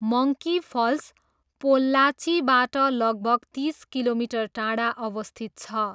Monkey falls पोल्लाचीबाट लगभग तिस किलोमिटर टाढा अवस्थित छ।